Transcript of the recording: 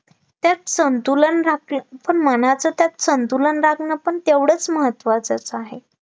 त्यात संतुलन राहते पण मनाचं त्यात संतुलन राहणं पण तेवढंच महत्त्वाचं आहे